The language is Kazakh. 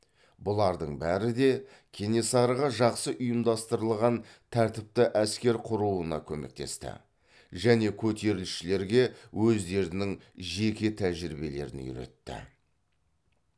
бұлардың бәрі де кенесарыға жақсы ұйымдастырылған тәртіпті әскер құруына көмектесті және көтерілісшілерге өздерінің жеке тәжірибелерін үйретті